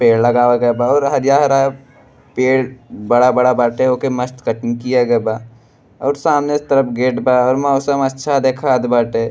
पेड़ लगावे के बा और हरा-हरा पेड़ बड़ा-बड़ा बाटे ओके मस्त कटिंग किया गईल बा और सामने तरफ गेट बा और मौसम अच्छा दिखात बाटे।